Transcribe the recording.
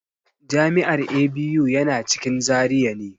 Jami'ar ABU yana cikin Zaria ne.